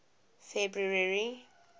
february